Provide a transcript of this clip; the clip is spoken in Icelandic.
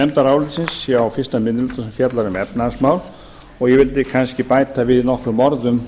nefndarálitsins hjá fyrsti minni hluta sem fjallar um efnahagsmál og ég vildi kannski bæta við nokkrum orðum